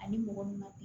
Ani mɔgɔ min ma bi